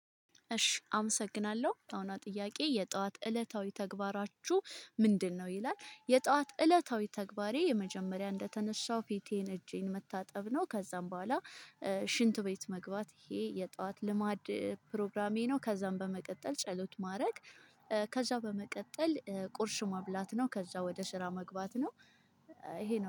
እሺ አመሰግናለሁ። ያሁኗ ጥያቄ "የጠዋት እለታዊ ተግባራችሁ ምንድነው?" ይላል፤ የጠዋት እለታዊ ተግባሬ የመጀመሪያ እንደተነሳሁ ፊቴን፣ እጄን መታጠብ ነው። ከዛም በኋላ ሽንት ቤት መግባት፤ ይሄ የጧት ልማድ ፕሮግራሜ ነው። ከዛም በመቀጠል ጸሎት ማድረግ። ከዛ በመቀጠል ቁርስ መብላት ነው። ከዛ ወደ ስራ መግባት ነው። ይሄ ነው።